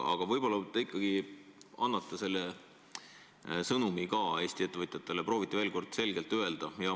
Aga võib-olla te ikkagi annate oma sõnumi Eesti ettevõtjatele, proovite selle veel kord selgelt öelda.